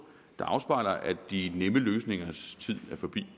der afspejler at de nemme løsningers tid er forbi